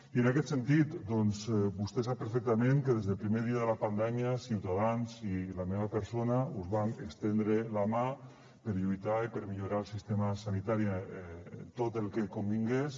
i en aquest sentit doncs vostè sap perfectament que des del primer dia de la pandèmia ciutadans i la meva persona us vam estendre la mà per lluitar i per millorar el sistema sanitari en tot el que convingués